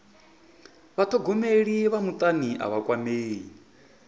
vhathogomeli vha mutani a vha kwamei